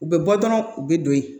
U bɛ bɔ dɔrɔn u bɛ don ye